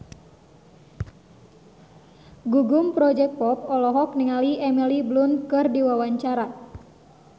Gugum Project Pop olohok ningali Emily Blunt keur diwawancara